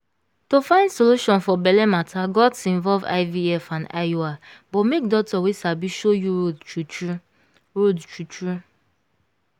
to find solution for belle matter gats involve ivf and iui but make doctor wey sabi show you road true true road true true